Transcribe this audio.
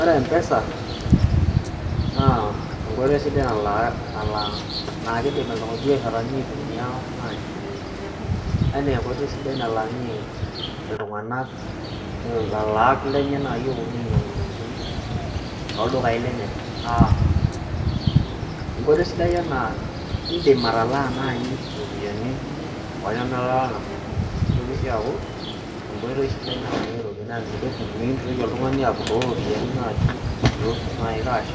ore M-pesa naa enkoitoi sidai naa keidim irbiasharani aitumia naji ena enkoitoi sidai nalaakinyie iltung'anak ilaalak lenye nayii oponu ainyang'u intokiting' tooldukai lenye enkoitoi sidai enaa indim atalaa naaji iropiyiani neitoki sii aaku enkoitoi sidai nalakieki iropiyiani naa meintoki oltung'ani apuroo iropiyiani naaji cash